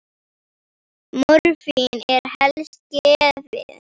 Morfín er helst gefið